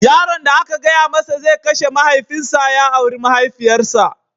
Yaron da aka gaya masa zai kashe mahaifinsa ya auri mahaifiyarsa